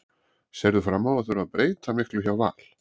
Sérðu fram á að þurfa að breyta miklu hjá Val?